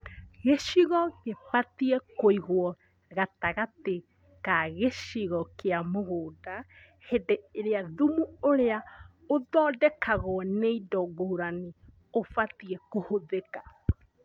Gĩcigo gĩbatie kũigwo gatagatĩ ka gĩcigo kĩa mũgũnda hĩndĩ ĩrĩa thumu ũrĩa ũthondekagwo nĩ indo ngũrani ũbatie kũhũthĩka